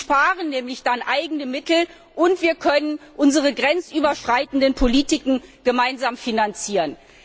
Sie sparen dann nämlich eigene Mittel, und wir können unsere grenzüberschreitenden Politiken gemeinsam finanzieren.